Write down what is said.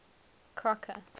crocker